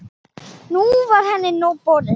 Nú var henni nóg boðið.